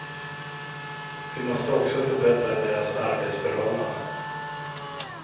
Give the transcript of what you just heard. Vi måste också förbättra deras arbetsförhållanden.